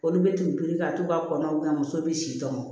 Olu bɛ t'u biriki ka t'u ka kɔnɔw na muso bɛ si dɔn